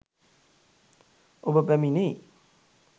ඔබ පැමිණෙයි.